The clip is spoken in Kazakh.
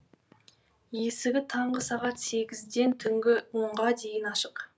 есігі таңғы сағат сегізден түнгі онға дейін ашық